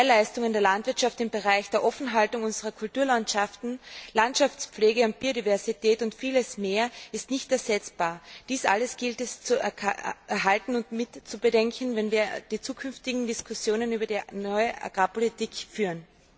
Die Mehrleistung in der Landwirtschaft im Bereich der Offenhaltung unserer Kulturlandschaften, Landschaftspflege und Biodiversität und vieles mehr ist nicht ersetzbar. Dies alles gilt es zu erhalten und mit zu bedenken, wenn wir in Zukunft Diskussionen über die neue Agrarpolitik führen.